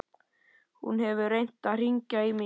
Hún hefur reynt að hringja í mig í haust.